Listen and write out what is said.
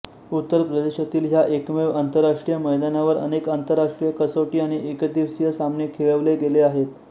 उत्तर प्रदेशतील ह्या एकमेव आंतरराष्ट्रीय मैदानावर अनेक आंतरराष्ट्रीय कसोटी आणि एकदिवसीय सामने खेळवले गेले आहेत